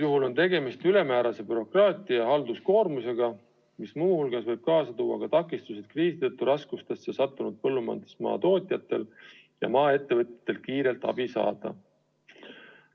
Sellega kaasneb ülemäärane bürokraatia ja halduskoormus, mis muu hulgas võib kaasa tuua takistusi kriisi tõttu raskustesse sattunud põllumajandustootjatel ja maaettevõtjatel kiirelt abi saada.